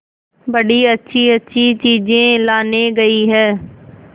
बड़ी अच्छीअच्छी चीजें लाने गई है